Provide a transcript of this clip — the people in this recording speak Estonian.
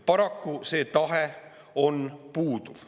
Paraku see tahe puudub.